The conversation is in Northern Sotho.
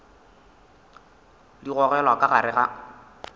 di gogelwa ka gare ga